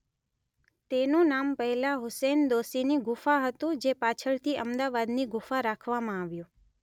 તેનું નામ પહેલા હુસૈન દોશીની ગુફા હતું જે પાછળથી અમદાવાદની ગુફા કરવામાં આવ્યું.